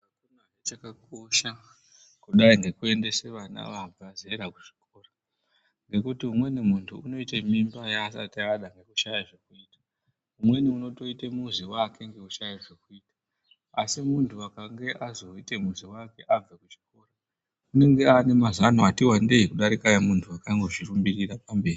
Chakakosha kudai ngekuendese vana vabva zera kuchikora ngokuti umweni muntu unoite mimba yaasati ada ngokushaya zvokuita umweni unotoite muzi wake ngokushaye zvokuita asi muntu akange azoite muzi wake apedze chikora unenge ane mazano ati wandei kudarika emuntu wakambozvirumbirira pamberi.